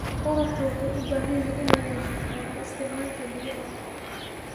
Waraabka wuxuu u baahan yahay inuu yeesho xeerar isticmaalka biyaha.